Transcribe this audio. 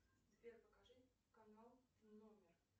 сбер покажи канал номер